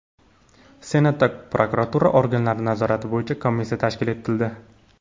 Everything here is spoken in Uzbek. Senatda prokuratura organlari nazorati bo‘yicha komissiya tashkil etildi.